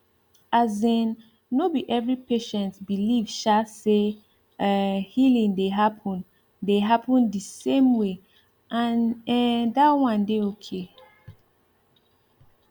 asin no be every patient believe um say um healing dey happen dey happen di same way and ehm that one dey okay